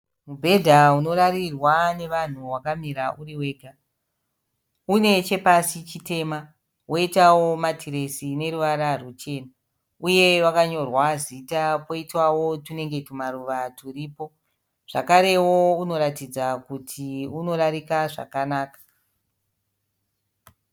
Mibhedha unorarirwa nevanhu wakamira uriwega. Unechepasi chitema woitawo matiresi ineruvara rwuchena. Uye wakanyorwa zita poitawo tunenge tumaruva turipo. Zvakarewo unoratidza kuti unorarika zvakanaka.